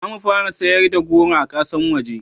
zamu fara sayarda da goro a ƙasan waje